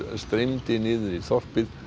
streymdi niður í þorpið